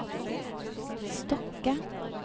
Stokke